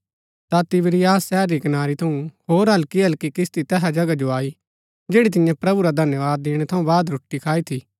ता तिबिरियास शहर री कनारी थऊँ होर हल्की हल्की किस्ती तैहा जगह जो आई जैड़ी तियें प्रभु रा धन्यवाद दिणै थऊँ बाद रोटी खाई थी